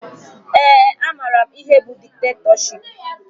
Ee, amara m ihe bụ diktetọship